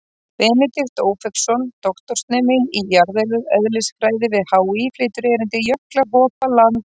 Benedikt Ófeigsson, doktorsnemi í jarðeðlisfræði við HÍ, flytur erindið: Jöklar hopa, land rís.